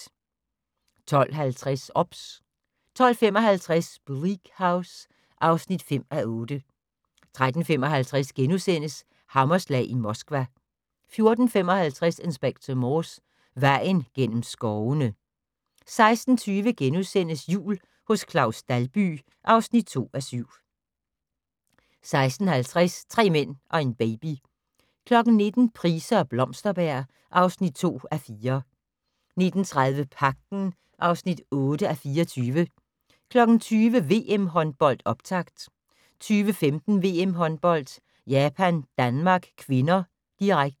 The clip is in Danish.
12:50: OBS 12:55: Bleak House (5:8) 13:55: Hammerslag i Moskva * 14:55: Inspector Morse: Vejen gennem skovene 16:40: Jul hos Claus Dalby (2:7)* 16:50: Tre mænd og en baby 19:00: Price og Blomsterberg (2:4) 19:30: Pagten (8:24) 20:00: VM-håndbold: Optakt 20:15: VM-håndbold: Japan-Danmark (k), direkte